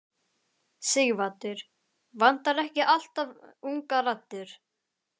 Sighvatur: Vantar ekki alltaf ungar raddir?